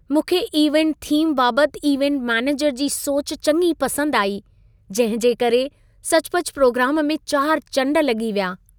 मूंखे event theme बाबति event manager जी सोच चङी पसंदि आई। जंहिं जे करे सचुपचु प्रोग्राम में चारि चंड लॻी विया।